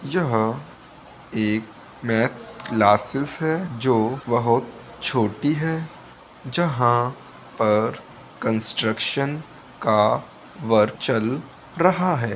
यहाँ एक math classes है जो बहोत छोटी है जहाँ पर कंस्ट्रक्शन का वर्क चल रहा है।